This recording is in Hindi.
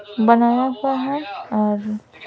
बनाया हुआ है और --